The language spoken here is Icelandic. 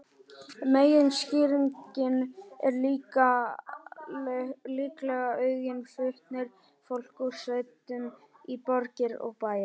Meginskýringin er líklega aukinn flutningur fólks úr sveitum í borgir og bæi.